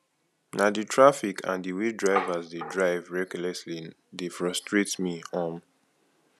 na di traffic and di way drivers dey drive recklessly dey frustrate me um